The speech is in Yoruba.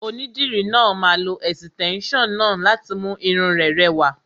Onídìrí náà máa lo ẹ̀sìtẹ́nson náà láti mú irun rẹ rẹwà.